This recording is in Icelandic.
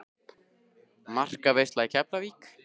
Markaveisla í Keflavík?